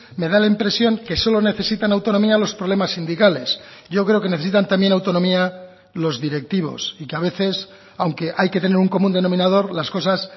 me da la impresión que solo necesitan autonomía los problemas sindicales yo creo que necesitan también autonomía los directivos y que a veces aunque hay que tener un común denominador las cosas